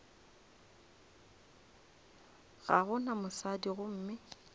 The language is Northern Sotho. ga go na mosadi gomme